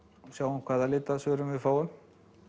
sjáum hvaða svörun við fáum